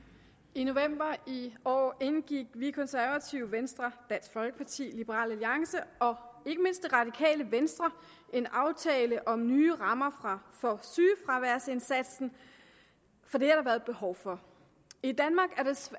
i november i år indgik vi konservative venstre dansk folkeparti liberal alliance og ikke mindst det radikale venstre en aftale om nye rammer for sygefraværsindsatsen for det har der været behov for i danmark